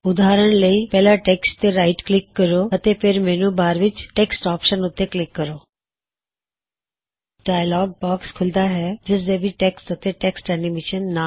ਉਦਾਹਰਨ ਲਈ ਪਹਿਲਾਂ ਟੈਕਸ੍ਟ ਤੇ ਰਾਇਟ ਕਲਿਕ ਕਰੋ ਅਤੋ ਫੇਰ ਮੈਨੂ ਵਿੱਚ ਟੈੱਕਸਟ ਔਪਸ਼ਨ ਉੱਤੇ ਕਲਿਕ ਕਰੋ ਇਕ ਡਾਇਅਲੌਗ ਬਾਕਸ ਖੁਲਦਾ ਹੈ ਜਿਸਦੇ ਵਿਚ ਟੈੱਕਸਟ ਅਤੇ ਟੈੱਕਸਟ ਐਨਿਮੇਇਸ਼ਨ